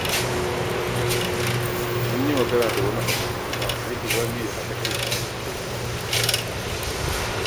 Mun yi magana da wani aboki na kan yadda za mu iya haɗa kai wajen fara kasuwanci.